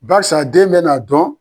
Barisa den bɛ n'a dɔn.